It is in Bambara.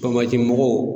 mɔgɔw